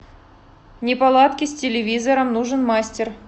неполадки с телевизором нужен мастер